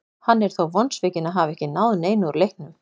Hann er þó vonsvikinn að hafa ekki náð neinu úr leiknum.